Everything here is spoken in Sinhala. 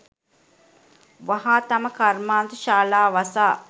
වහා තම කර්මාන්ත ශාලා වසා